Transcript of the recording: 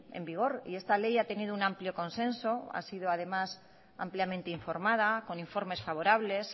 en vigor y esta ley ha tenido un amplio consenso ha sido además ampliamente informada con informes favorables